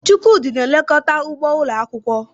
Chukwudi na-elekọta ugbo ụlọ akwụkwọ.